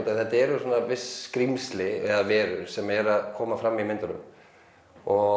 að þetta eru viss skrímsli eða verur sem eru að koma fram í myndunum og